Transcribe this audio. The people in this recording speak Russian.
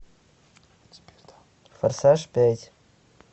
форсаж пять